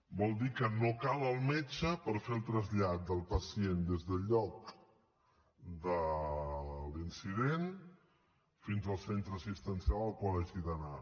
vol dir que no cal el metge per fer el trasllat del pacient des del lloc de l’incident fins al centre assistencial al qual hagi d’anar